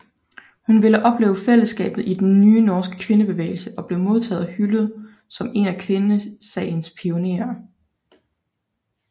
Hun ville opleve fællesskabet i den nye norske kvindebevægelse og blev modtaget og hyldet som en af kvindesagens pionerer